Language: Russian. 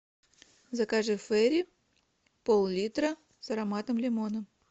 закажи фери пол литра с ароматом лимона